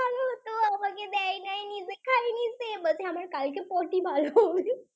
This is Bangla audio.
সে বলছে কালকে আমার Potty ভালো হবে।